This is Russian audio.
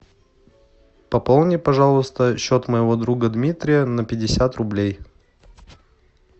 пополни пожалуйста счет моего друга дмитрия на пятьдесят рублей